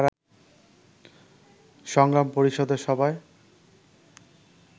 সংগ্রাম পরিষদের সভায়